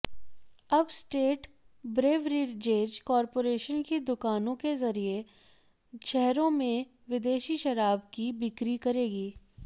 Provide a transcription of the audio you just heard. अब state beverages corporation की दुकानों के जरिये शहरों में विदेशी शराब की बिक्री करेगी